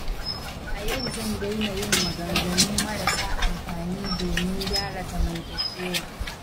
A yau zan daina yin maganganu marasa amfani domin gyara zamantakewa.